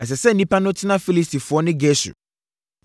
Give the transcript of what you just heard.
“Ɛsɛ sɛ nnipa no tena Filistifoɔ ne Gesur,